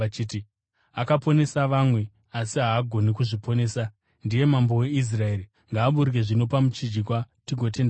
“Akaponesa vamwe, asi haagoni kuzviponesa! Ndiye Mambo weIsraeri! Ngaaburuke zvino pamuchinjikwa tigotenda kwaari.